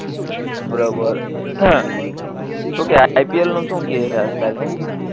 બરોબર શું કે આઇપીએલ નું શું કે આજ કાલ